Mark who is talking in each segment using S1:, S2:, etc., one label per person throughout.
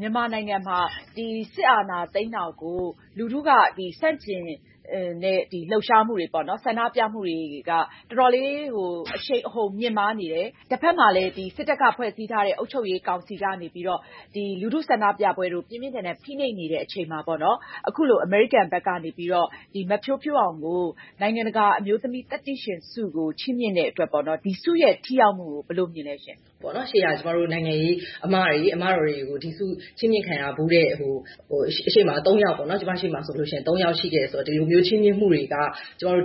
S1: မြန်မာနိုင်ငံမှာ စစ်အာဏာသိမ်းတာကို လူထုက ဆန့်ကျင်တဲ့လှုပ်ရှားမှု၊ ဆန္ဒပြမှုတွေက တော်တော်လေး အရှိန်အဟုန်မြင့်မားနေတယ်။ တဘက်မှာလည်း စစ်တပ်ကဖွဲ့စည်းထားတဲ့ကောင်စီက လူထုဆန္ဒပြပွဲတွေကို ပြင်းပြင်းထန်ထန် ဖိနှိပ်နေတဲ့အချိန်မှာ အခုလို အမေရိကန်ဘက်က နေပြီး တော့ မဖြိုးဖြိုးအောင်ကို နိုင်ငံတကာ အမျိုးသမီးသတ္တိရှင်ဆုချီးမြှင့်လိုက်တဲ့အတွက် ဒီဆုရဲ့ထိရောက်မှုကို ဘယ်လို မြင်လဲရှင့်။
S2: ရှေ့က ကျမတို့ နိုင်ငံရေးအမတော်တွေကို ဒီဆုချီးမြှင့်ခံရဖူးတဲ့သူ ကျမရှေ့မှာ ၃ ယောက် ရှိခဲ့တယ်ဆိုတော့ ဒီလိုမျိုး ချီးမြှင့်မှုတွေက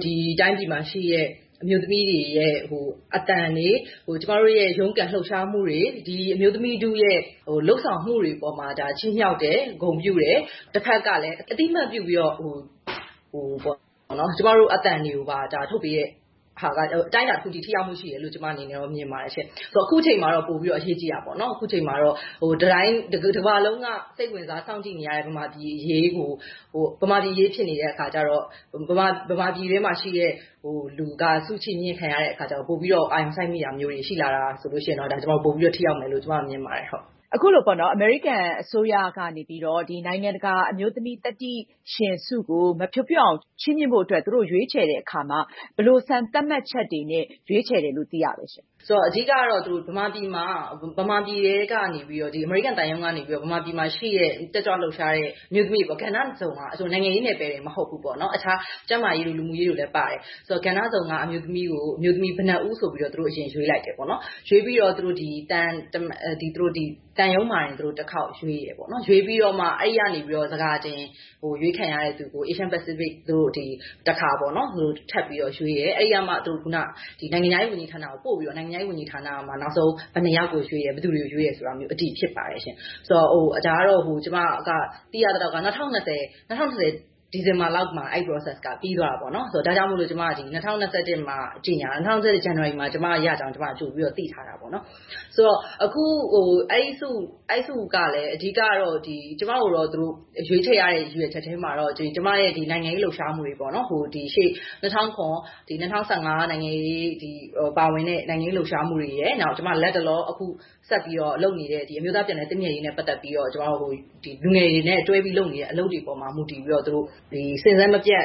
S2: ဒီတိုင်းပြည်မှာ ရှိတဲ့ အမျိုးသမီးတွေရဲ့အသံတွေ၊ ကျမတို့ရဲ့ ရုန်းကန်လှုပ်ရှားမှုတွေ၊ ဒီအမျိုးသမီးတွေရဲ့လုပ်ဆောင်မှုတွေအပေါ်မှာ ချီးမြှောက်တယ်၊ ဂုဏ်ပြုတယ်၊ တဘက်ကလည်း အသိအမှတ်ပြုပြီးတော့ ကျမတို့ရဲ့အသံတွေကို ထုတ်ပေးတဲ့ဟာက အတိုင်းအတာတခုအထိ ထိရောက်မှုရှိတယ်လို့ ကျမအနေနဲ့မြင်ပါတယ်ရှင့်။…ဆိုတော့ အခုအချိန်မှာတော့ ပိုပြီးအရေးကြီးတာပေါ့နော်။ အခုအချိန်မှာ တကမ္ဘာလုံးက စိတ်ဝင်စားစောင့်ကြည့်နေရတဲ့ မြန်မာပြည်အရေးဖြစ်နေတဲ့အခါကျတော့ ဗမာပြည်တွင်းမှာရှိတဲ့ လူကဆုချီးမြှင့်ခံရတဲ့အခါကျတော့ ပိုပြီးအာရုံစိုက်မိလာတာမျိုးတွေ ရှိရင် ပိုပြီးတော့ ထိရောက်မယ်လို့ ကျမအနေနဲ့ မြင်ပါတယ်။
S1: အခုလိုမျိုး အမေရိကန်အစိုးရက မဖြိုးဖြိုးအောင်ကို နိုင်ငံတကာအမျိုးသမီးသတ္တိရှင်ဆုချီးမြှင့်ဖို့ သူတို့ရွေးချယ်တဲ့အခါမှာ ဘယ်လိုစံ သတ်မှတ်ချက်တွေနဲ့ ရွေးချယ်တယ်လို့သိရလဲရှင့်။
S2: အဓိက ကတော့ မြန်မာပြည်ထဲက အမေရိကန်သံရုံးကနေပြီးတော့ မြန်မာပြည်အတွင်း ကဏ္ဍစုံက တက်ကြွလှုပ်ရှားတဲ့အမျိုးသမီးတွေ- နိုင်ငံရေးတင်မဟုတ်ဘဲ အခြား ကျန်းမာရေးတို့၊ လူမှုရေးတို့လည်းပါတယ်။ ကဏ္ဍစုံက အမျိုးသမီး ဘယ်နှစ်ဦးဆိုပြီး သူတို့အရင်ရွေးလိုက်တယ်ပေါ့နော်။ ရွေးပြီးတော့ သံရုံးမှာတင် သူတို့တခေါက်ရွေးတယ်ပေါ့နော်။ သူတို့ရွေးပြီးတော့မှ စကာတင်ကို အရွေးခံရတဲ့သူကို အေရှ-ပစိဖိတ်မှာ တခါ ထပ်ပြီးတော့ ရွေးတယ်။ စကာတင်-ပေါ့။ အဲဒီကမှ နိုင်ငံခြားရေးဝန်ကြီးဌာနကိုပို့ပြီးတော့ နိုင်ငံခြားရေးဝန်ကြီး ဌာနကမှ ဘယ်နှစ်ေ ယာက်ကိုရွေးတယ်၊ ဘယ်သူတွေကို ရွေးတယ်ဆိုတာမျိုး၊ အတည်ဖြစ်ပါတယ်ရှင့်။ ဒါကတော့ ကျမ သိရသလောက် ၂၀၂၀ ဒီဇင်ဘာလောက်မှာ အဲဒီ process က ပြီးသွားတာပေါ့နော်။ ဒါကြောင့်မို့လို့ ၂၀၂၁ ဇန်နဝါရီမှာ ကျမရကြောင်း ကျမက ကြိုပြီးတော့ သိထားတာပေါ့နော်။ အဲဒီဆုက အဓိကကတော့ ကျမကိုတော့ ရွေးချယ်ရတဲ့ရည်ရွယ်ချက်ထဲမှာ ကျမရဲ့နိုင်ငံရေး လှုပ်ရှားမှုတွေ ပေါ့နော်၊ ၂၀၀၇-၂၀၁၅ နိုင်ငံရေးတွေမှာ ပါဝင်တဲ့ လှုပ်ရှားမှုတွေရယ်။ နောက် လတ်တလောလုပ်နေတဲ့ အမျိုးသားပြန်လည်သင့်မြတ်ရေးနဲ့ပတ်သက်ပြီးတော့ လူငယ်တွေနဲ့တွဲလုပ်နေတဲ့ အလုပ်တွေပေါ်မှာ မူတည်ပြီးတော့ စဉ်ဆက်မပြတ်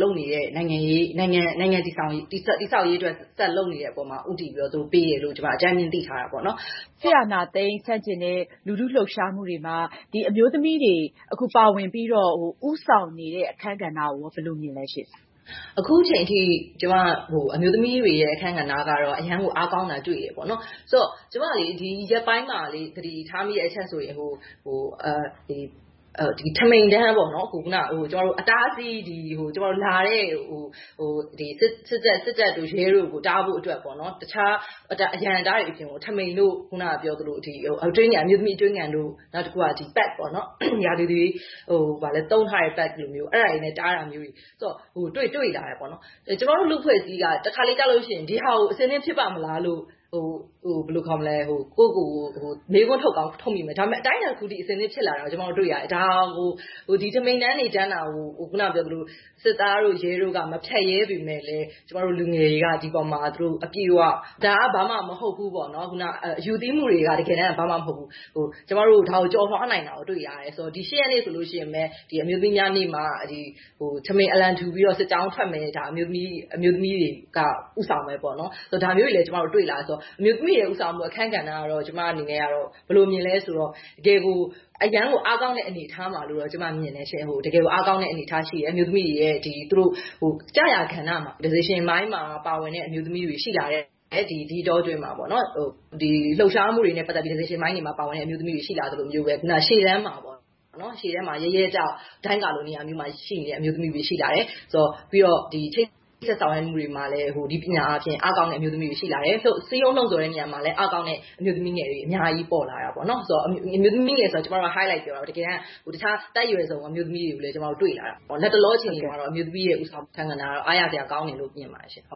S2: လုပ်နေတဲ့နိုင်ငံတည်ဆောက်ရေးအတွက် ဆက်လုပ်နေတဲ့အပေါ်မှာ ဦးတည်ပြီးတော့ ပေးတယ်လို့ ကျမ အကြမ်းဖျင်း သိထားတာပေါ့နော်။
S1: စစ်အာဏာသိမ်းဆန့်ကျင်တဲ့ လူထုလှုပ်ရှားမှုတွေမှာ အမျိုးသမီးတွေ ပါဝင်ဦးဆောင်နေတဲ့အခန်းကဏ္ဍကိုရော ဘယ်လိုမြင်လဲရှင့်။
S2: အခုအချိန်အထိ အမျိုးသမီးတွေရဲ့အခန်းကဏ္ဍကတော့ အရမ်းကိုအားကောင်းတာတွေ့တယ်ပေါ့နော်။ ဆိုတော့…ဒီရက်ပိုင်းမှာ သတိထားမိတဲ့ အချက်ဆိုရင် ထမီတန်းပေါ့- လာတဲ့ စစ်တပ်တို့၊ ရဲတို့ကိုတားဖို့ တခြားအရံအတားတွေအပြင် ထမီတို့၊ အခုနကပြောသလို အမျိုးသမီးအတွင်းခံတို့၊ နောက်တခုက pad ပေါ့နော်။ အဲဒါတွေနဲ့တားထားတာမျိုးတွေ တွေ့လာတယ်။ ကျမတို့လူ့အဖွ့ဲအစည်းက တခါတလေကျလို့ရှိရင် ဒီဟာကို အဆင်သင့် ဖြစ်ပါ့မလားလို့ ဘယ်လိုခေါ်မလဲ၊ ကိုယ့်ဖာသာကိုယ် မေးခွန်းထုတ်ကောင်းထုတ်မိမယ်။ ဒါပေမယ့် အတိုင်းအတာတခုအထိ အဆင်သင့်ဖြစ်လာ တာကို တွေ့ရတယ်။ ဒါကို ထမီတန်းတွေ တန်းတာကို စစ်သားတို့၊ ရဲတို့က မဖြတ်ရဲပေမယ့်လည်း လူငယ်တွေက အပြည့်အဝ အယူသည်းမှုတွေက တကယ်တန်း က ဘာမှမဟုတ်ဘူး ဒါကို ကျော်လွှားနိုင်တာကို တွေ့လာတယ်။ ၈ ရက်နေ့ဆိုလို့ရှိရင်ပဲ အမျိုးသမီးများနေ့မှာ ထမီအလံထူပြီးစစ်ကြောင်းထွက်မယ်။ ဒါ အမျိုးသမီးတွေက ဦးဆောင်မယ်ပေါ့နော်၊ ဒါမျိုးတွေလည်း တွေ့လာရတယ်ဆိုတော့ အမျိုးသမီးတွေရဲ့ ဦးဆောင်မှုအခန်း ကဏ္ဍ ကတော့ ကျမအနေနဲ့ကတော့ တကယ်ကို၊ အရမ်းကိုအားကောင်းတဲ့ အနေအထားမှာလို့ ကျမ မြင်တယ်ရှင့်။ တကယ်ကို အားကောင်းတဲ့အနေအထားရှိတယ်။ အမျိုးသမီးတွေရဲ့ ကျရာကဏ္ဍမှာ decision ပိုင်းမှာ ပါဝင်တဲ့ အမျိုးသမီးတွေ ဒီအတောအတွင်းမှာ ရှိလာတယ်ပေါ့နော်။ လှုပ်ရှားမှုတွေနဲ့ပတ်သက်ပြီး decision ပိုင်းတွေမှာပါဝင်တဲ့အမျိုးသမီးတွေ ရှိလာသလိုမျိုးပဲ၊ ရှေ့တန်းမှာ ရဲရဲတောက် ဒိုင်းကာလိုနေရာမျိုးမှာရှိနေတဲ့ အမျိုးသမီးတွေ ရှိလာတယ်။ ပြီးတော့ ချိတ်ဆက်ဆောင်ရွက်မှုတွေမှာလည်း နည်းပညာပိုင်းမှာ အားကောင်းတဲ့အမျိုးသမီးတွေ ရှိလာတယ်။ လှုံ့ဆော် စည်းရုံးတဲ့နေရာမှာလည်း အားကောင်းတဲ့အမျိုးသမီးငယ်တွေ အများကြီးပေါ်လာတာပေါ့။ အမျိုးသမီးငယ်တွေဆိုတာက ကျမတို့က high-light ပြောတာပါ။ တကယ်တန်းက တခြား အသက်အရွယ်စုံက အမျိုးသမီးတွေကိုလည်း ကျမတို့က တွေ့လာတာပါ။ လတ်တလောအခြေအနေမှာတော့ အမျိုးသမီးတွေရဲ့ဦးဆောင်မှုကဏ္ဍကတော့ အားရစရာလို့မြင်ပါတယ်ရှင့်